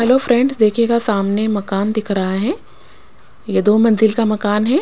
Hello friends देखिएगा सामने मकान दिख रहा है ये दो मंजिल का मकान है।